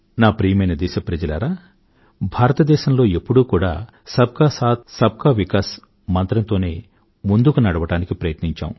ప్రియమైన నా దేశప్రజలారా భారతదేశంలో ఎప్పుడూ కూడా సబ్ కా సాథ్ సబ్ కా వికాస్ మంత్రంతోనే ముందుకు నడవడానికి ప్రయత్నించాము